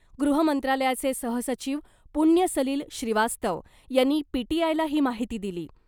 गृहमंत्रालयाचे सहसचिव पुण्यसलिल श्रीवास्तव यांनी पीटीआयला ही माहिती दिली .